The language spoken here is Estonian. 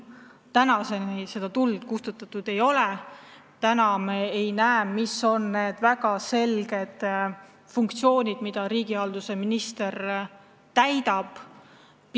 Tänaseni seda tuld kustutatud ei ole, kuigi me ei saa aru, mis on need funktsioonid, mida riigihalduse minister täidab.